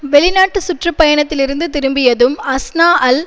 வெளிநாட்டு சுற்றுப்பயணத்திலிருந்து திரும்பியதும் அஸ்னாஅல்